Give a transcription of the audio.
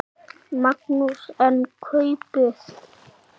Magnús: En kaupið?